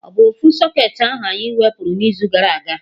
Ọ bụ ofu socketị ahụ anyị wepụrụ n'izu gara aga?